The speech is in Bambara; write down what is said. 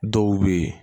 Dɔw bɛ yen